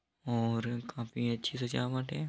और काफी अच्छी सजावट है।